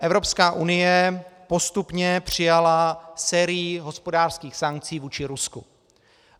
Evropská unie postupně přijala sérii hospodářských sankcí vůči Rusku.